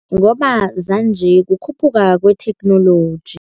Ngoba zanje kukhuphuka kwetheknoloji.